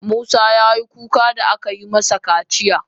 Musa ya yi kuka da aka yi masa kaciya.